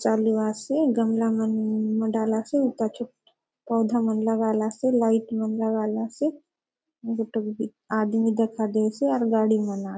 चालु आसे गमला मन मंडलासे हुता चो पौधा मन लगालासे लाइट मन लगालासे गोटोक बी आदमी दखा दयेसे आउर गाड़ी मन आ --